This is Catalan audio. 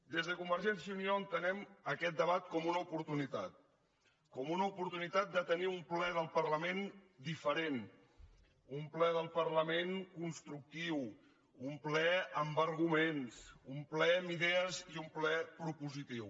des de convergència i unió entenem aquest debat com una oportunitat com una oportunitat de tenir un ple del parlament diferent un ple del parlament constructiu un ple amb arguments un ple amb idees i un ple propositiu